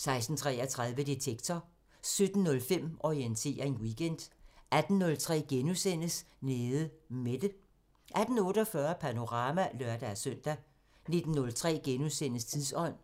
16:33: Detektor 17:05: Orientering Weekend 18:03: Nede Mette * 18:48: Panorama (lør-søn) 19:03: Tidsånd